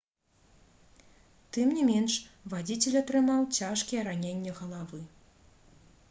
тым не менш вадзіцель атрымаў цяжкія раненні галавы